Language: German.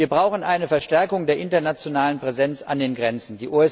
Wir brauchen eine Verstärkung der internationalen Präsenz an den Grenzen.